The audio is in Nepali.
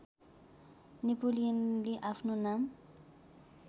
नेपोलियनले आफ्नो नाम